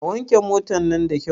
A wanke motan nan da kyau!